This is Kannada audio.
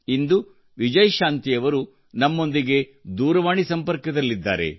ಇಂದು ವಿಜಯಶಾಂತಿಯವರು ನಮ್ಮೊಂದಿಗೆ ದೂರವಾಣಿ ಸಂಪರ್ಕದಲ್ಲಿದ್ದಾರೆ